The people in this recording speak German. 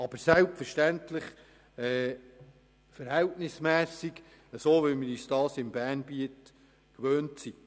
Dies aber selbstverständlich verhältnismässig, so wie wir uns das im Kanton Bern gewöhnt sind.